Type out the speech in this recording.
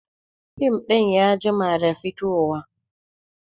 Fim ɗin ya jima da fito wa